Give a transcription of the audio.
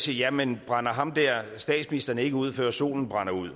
jamen brænder ham der statsministeren ikke ud før solen brænder ud